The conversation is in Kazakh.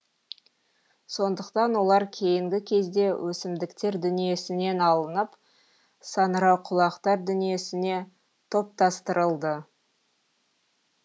сондықтан олар кейінгі кезде өсімдіктер дүниесінен алынып саңырауқұлақтар дүниесіне топтастырылды